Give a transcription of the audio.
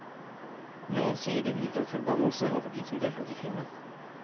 Noen sier det hviler en forbannelse over de som deltok i filmen.